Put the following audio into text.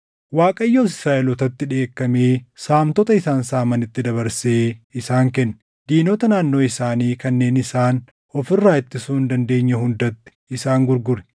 Waaqayyos Israaʼelootatti dheekkamee saamtota isaan saamanitti dabarsee isaan kenne. Diinota naannoo isaanii kanneen isaan of irraa ittisuu hin dandeenye hundatti isaan gurgure.